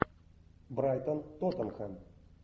брайтон тоттенхэм